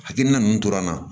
Hakilina ninnu tora n na